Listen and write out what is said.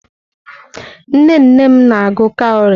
Nnenne m na-agụ kawrị.